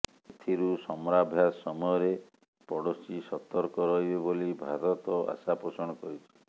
ଏଥିରୁ ସମରାଭ୍ୟାସ ସମୟରେ ପଡୋଶୀ ସତର୍କ ରହିବେ ବୋଲି ଭାରତ ଆଶାପୋଷଣ କରିଛି